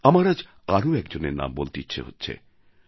আমার আজ আরও একজনের নামও বলতে ইচ্ছে হচ্ছে